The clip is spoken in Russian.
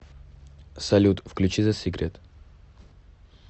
салют включи зэ сикрет